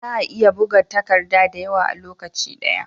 Za'a iya buga takadda da yawa a lokacin daya